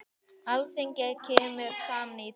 Alþingi kemur saman í dag.